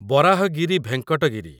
Varahagiri Venkata Giri